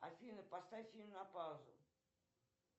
афина поставь фильм на паузу